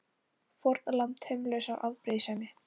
Fórnarlamb taumlausrar afbrýðisemi!